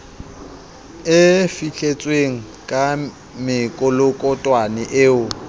e fihletsweng ka mekolokotwane eo